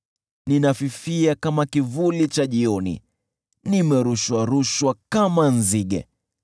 Ninafifia kama kivuli cha jioni, nimerushwa-rushwa kama nzige.